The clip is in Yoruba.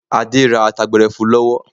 Adé ra ata gbẹrẹfu lọ́wọ́.